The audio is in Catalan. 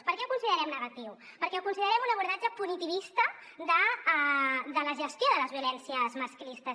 per què ho considerem negatiu perquè ho considerem un abordatge punitivista de la gestió de les violències masclistes